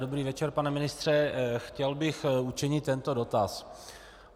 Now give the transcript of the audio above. Dobrý večer, pane ministře, chtěl bych učinit tento dotaz.